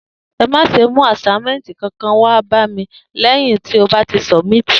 E mà sẹ mú asàímẹtí kankan wà bà mí lẹyín tọ bà ti sọbímití!